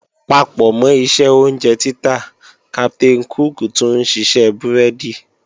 Papọ̀mọ́ iṣẹ́ oúnjẹ títà, Captain cook tún ṣiṣẹ́ búrẹ́dì